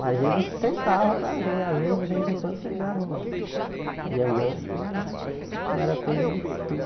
Mas eles tentavam para ver, às vezes, de vez em quando pegavam um diamante, mas não não era coisa de futuro.